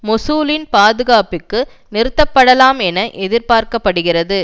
மொசூலின் பாதுகாப்புக்கு நிறுத்தப்படலாம் என எதிர்பார்க்க படுகிறது